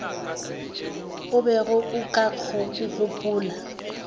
o bego o ka gopola